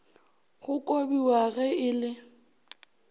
go kobiwa ge e le